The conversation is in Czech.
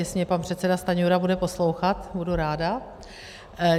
Jestli mě pan předseda Stanjura bude poslouchat, budu ráda.